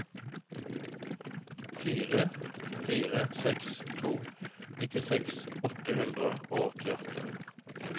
fire fire seks to nittiseks åtte hundre og åttiåtte